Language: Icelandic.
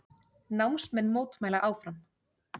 Námsmenn mótmæla áfram